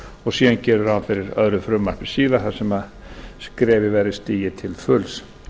og síðan geri ég ráð fyrir öðru frumvarpi síðar þar sem skrefið verði stigið til fulls